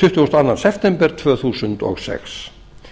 tuttugasta og annan september tvö þúsund og sex